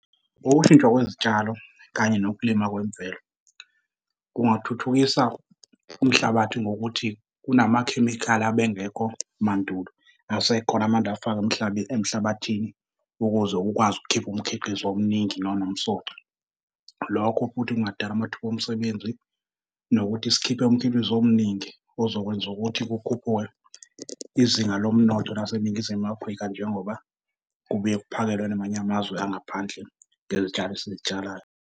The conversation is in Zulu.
Kokushintsha kwezitshalo kanye nokulima kwemvelo, kungathuthukisa umhlabathi ngokuthi kunamakhemikhali abengekho mandulo asekhona manje afakwa emhlabathini ukuze ukwazi ukukhipa umkhiqizo omningi nonomsoco. Lokho futhi kungadala amathuba omsebenzi, nokuthi sikhiphe umkhiqizo omningi ozokwenza ukuthi kukhuphuke izinga lomnotho laseNingizimu Afrika njengoba kubuye kuphakelwe namanye amazwe angaphandle ngezitshalo esizitshalayo.